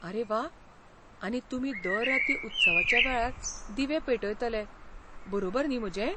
आरे वा. आनी तुमी दर राती उत्सवाच्या वेळार दिवे पेटयतले, बरोबर न्ही म्हजें?